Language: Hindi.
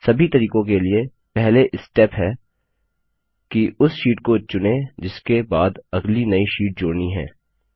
सभी तरीकों के लिए पहले स्टेप है कि उस शीट को चुनें जिसके बाद अगली नई शीट जोड़नी है